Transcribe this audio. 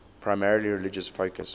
primarily religious focus